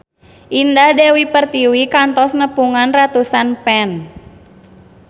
Indah Dewi Pertiwi kantos nepungan ratusan fans